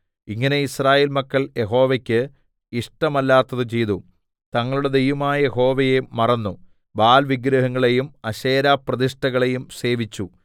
ഇങ്ങനെ യിസ്രായേൽ മക്കൾ യഹോവയ്ക്ക് ഇഷ്ടമല്ലാത്തത് ചെയ്തു തങ്ങളുടെ ദൈവമായ യഹോവയെ മറന്നു ബാൽവിഗ്രഹങ്ങളെയും അശേരപ്രതിഷ്ഠകളെയും സേവിച്ചു